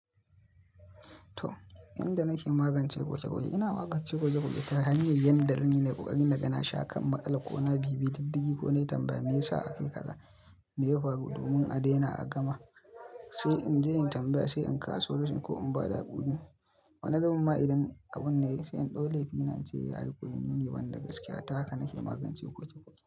To, inda nake magance ƙoƙa-ƙoƙe ina magance ƙoƙa-ƙoƙe ta hanyar yanda zanyi nayi ƙoƙari na ga na sha kan matsalar ko na bibiye diddigi ko nayi tambaya meyasa a kayi kaza, me ya faru domin a daina a gaba. Sai in je in tambaya, sai in kawo solution ko in bada hakuri. Wani zubin ma idan abun nayi sai in ɗau laifi na ince eh ayi hakuri ni ne banda gaskiya ta haka nake magance ƙoƙa-ƙoƙe.